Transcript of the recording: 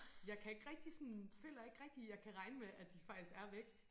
Jeg kan ikke rigtig sådan føler ikke rigtig jeg kan regne med at de faktisk er væk